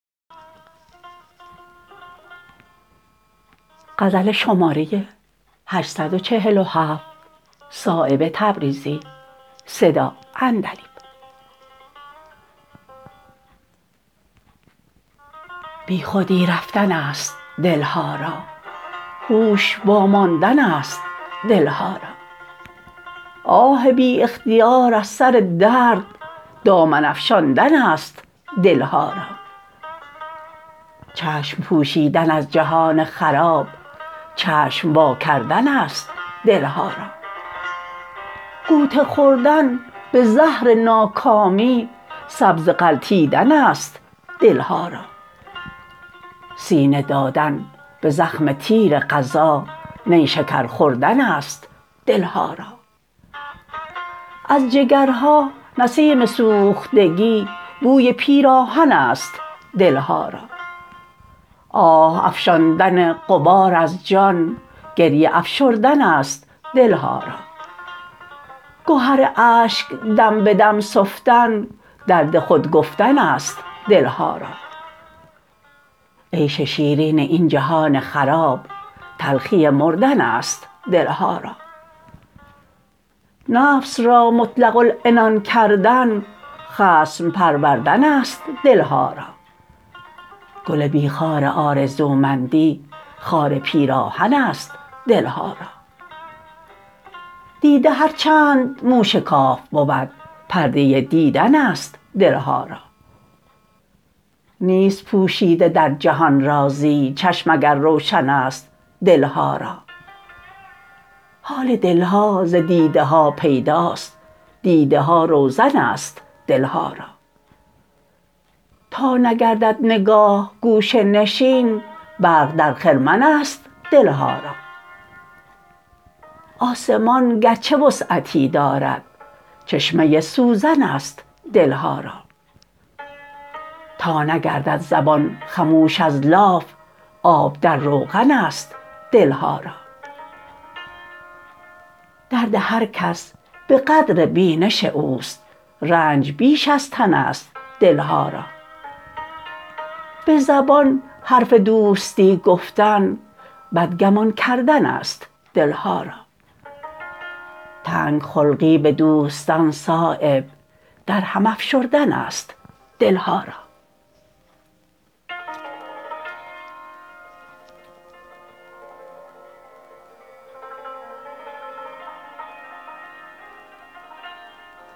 بی خودی رفتن است دل ها را هوش واماندن است دل ها را آه بی اختیار از سر درد دامن افشاندن است دل ها را چشم پوشیدن از جهان خراب چشم وا کردن است دل ها را غوطه خوردن به زهر ناکامی سبزه غلتیدن است دل ها را سینه دادن به زخم تیر قضا نیشکر خوردن است دل ها را از جگرها نسیم سوختگی بوی پیراهن است دل ها را آه افشاندن غبار از جان گریه افشردن است دل ها را گهر اشک دم به دم سفتن درد خود گفتن است دل ها را عیش شیرین این جهان خراب تلخی مردن است دل ها را نفس را مطلق العنان کردن خصم پروردن است دل ها را گل بی خار آرزومندی خار پیراهن است دل ها را دیده هرچند موشکاف بود پرده دیدن است دل ها را نیست پوشیده در جهان رازی چشم اگر روشن است دل ها را حال دل ها ز دیده ها پیداست دیده ها روزن است دل ها را تا نگردد نگاه گوشه نشین برق در خرمن است دل ها را آسمان گرچه وسعتی دارد چشمه سوزن است دل ها را تا نگردد زبان خموش از لاف آب در روغن است دل ها را درد هرکس به قدر بینش اوست رنج بیش از تن است دل ها را به زبان حرف دوستی گفتن بدگمان کردن است دل ها را تنگ خلقی به دوستان صایب در هم افشردن است دل ها را